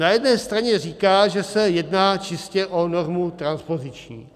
Na jedné straně říká, že se jedná čistě o normu transpoziční.